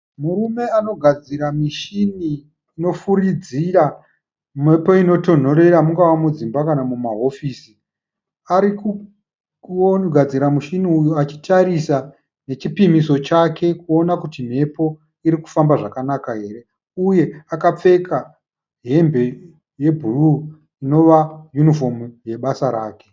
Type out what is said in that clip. Murume anogadzira mushini unofuridzira mhepo inotonhorera mungava mungava mudzimba kana mumahofisi. Ari kugadzira mushini uyu achitarisa nechipiriso chake kuona kuti mhepo iri kufamba zvakanaka here uye akapfeka hembe yebhuruu inova yunifomu yebasa rake.